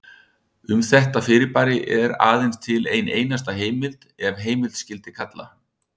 Um þetta fyrirbæri er aðeins til ein einasta heimild ef heimild skyldi kalla.